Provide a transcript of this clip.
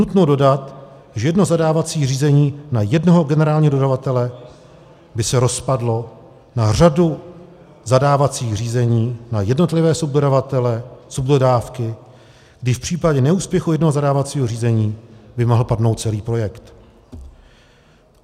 Nutno dodat, že jedno zadávací řízení na jednoho generálního dodavatele by se rozpadlo na řadu zadávacích řízení na jednotlivé subdodavatele, subdodávky, když v případě neúspěchu jednoho zadávacího řízení by mohl padnout celý projekt.